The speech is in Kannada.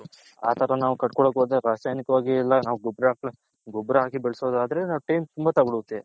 ಆ ತರ ನಾವು ಕಟ್ಕೊಲ್ಲೋಕೆ ಹೋದ್ರೆ ರಾಸಾಯನಿಕವಾಗಿ ಎಲ್ಲಾ ಗೊಬ್ಬರ ಗೊಬ್ಬರ ಆಕಿ ಬೇಲ್ಸೋದದ್ರೆ Time ತುಂಬಾ ತಗೊಳುತ್ತೆ.